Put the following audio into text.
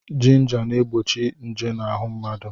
Jinja na-egbochi nje n'ahụ mmadụ.